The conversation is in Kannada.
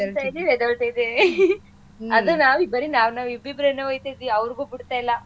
ಬೀಳ್ತಾ ಇದೀವಿ ಎದ್ದೆಳ್ತಿದಿವಿ ಅದು ನಾವು ಬರೀ ನಾವ್ನಾವ್ ಇಬ್ಬಿಬ್ರೆ ಒಯ್ತಾ ಇದ್ವಿ ಅವ್ರ್ಗೂ ಬುಡ್ತಾ ಇಲ್ಲ.